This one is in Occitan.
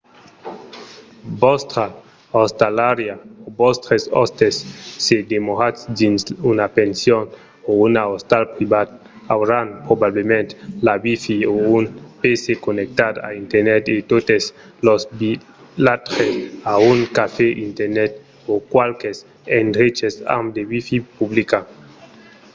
vòstra ostalariá o vòstres òstes se demoratz dins una pension o un ostal privat auràn probablament la wifi o un pc connectat a internet e totes los vilatges an un cafè internet o qualques endreches amb de wifi publica